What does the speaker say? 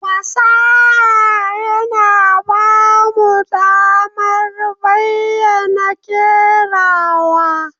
Fasaha yana ba mu damar bayyana kerawa.